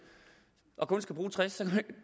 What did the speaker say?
og kun skal bruge tres